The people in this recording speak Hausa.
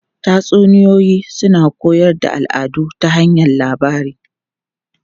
Tatsuniyoyi suna koyar da al'adu ta hanyar labari.